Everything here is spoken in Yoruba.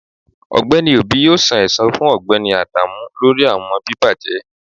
Ọgbẹni obi yoo san ẹsan fun Ọgbẹni adamu lori awọn bibajẹ